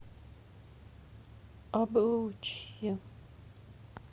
облучье